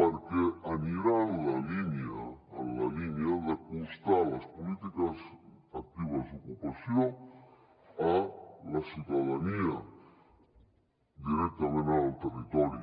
perquè anirà en la línia d’acostar les polítiques actives d’ocupació a la ciutadania directament en el territori